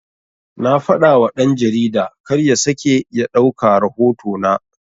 Na fadawa dan-jarida karya sake ya ɗauka rahoto na